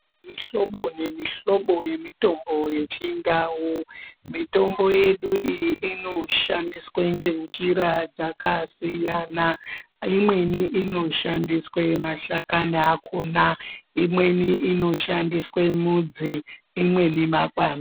Mihlobo nemihlobo yemitombo yechindau, mitombo yedu iyi inoshandiswa ngenjira dzakasiyana. Imweni inoshandiswa mashakani akhona, imweni inoshandiswe mudzi, imweni makwande.